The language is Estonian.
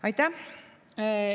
Aitäh!